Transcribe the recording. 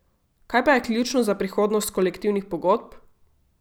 Kaj pa je ključno za prihodnost kolektivnih pogodb?